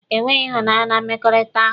E nweghi ịhụnanya na mmekọrịta ahụ.